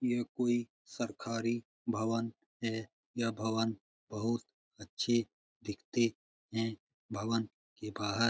यह कोई सरकारी भवन है | यह भवन बहुत अच्छे दिखते हैं भवन के बहार --